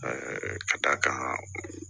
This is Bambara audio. ka d'a kan